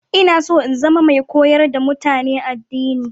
Ina so in zama mai koyar da mutane addini